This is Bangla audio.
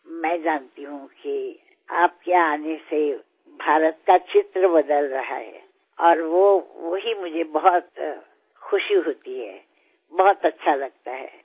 আমি জানি যে আপনি আসার পর ভারতের ছবি কীভাবে পরিবর্তিত হয়েছে আর সেখানেই আমি সবচেয়ে আনন্দিত বোধ করি খুব ভালো লাগে